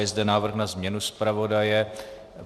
Je zde návrh na změnu zpravodaje.